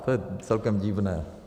To je celkem divné.